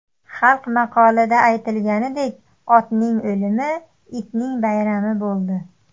Xalq maqolida aytilganidek, otning o‘limi itning bayrami bo‘ldi.